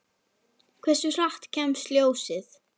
Hversu hratt kemst ljósið?